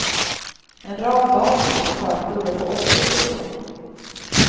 En rad dagis och förskolor får också slå igen.